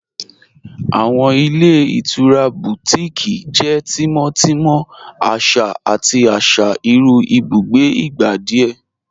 Awọn ilẹ̀ itura Bùtíkìí jẹ́ tímọ́tímọ̀, àṣà àti àṣà irú ìbùgbé ìgbà díẹ̀.